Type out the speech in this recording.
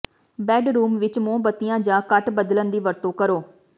bedroom ਵਿੱਚ ਮੋਮਬੱਤੀਆਂ ਜਾਂ ਘੱਟ ਬਦਲਣ ਦੀ ਵਰਤੋਂ ਕਰੋ